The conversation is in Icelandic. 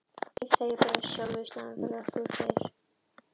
Hugmyndir um hvernig við getum á jákvæðan hátt fengið meiri tíma.